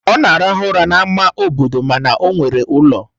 Ọ na-arahụ ụra n'ámá obodo mana ọ nwere ụlọ